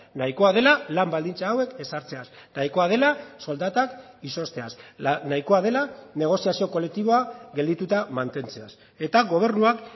nahikoa dela lan baldintza hauek ezartzeaz nahikoa dela soldatak izozteaz nahikoa dela negoziazio kolektiboa geldituta mantentzeaz eta gobernuak